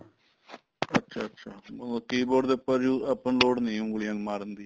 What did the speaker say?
ਅੱਛਾ ਅੱਛਾ keyboard ਦੇ ਉੱਪਰ ਆਪਾਂ ਨੂੰ ਲੋੜ ਨੀਂ ਉਂਗਲੀਆਂ ਮਾਰਨ ਦੀ